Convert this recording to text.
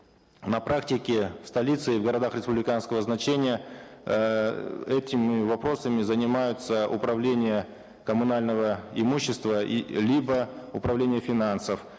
на практике в столице и в городах республиканского значения эээ этими вопросами занимаются управление коммунального имущества и либо управление финансов